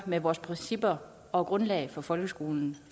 med vores principper og grundlag for folkeskolen